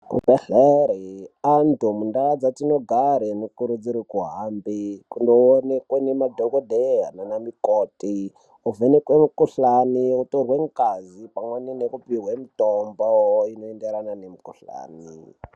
Zvibhedhlera antu mundau matinogara anokurudzirwa kuhambe kundoona madhokodheya nana mukoti ovhenekwa mukuhlani otorwa ngazi pamweni nekupihwa mitombo inoenderana nemikuhlani.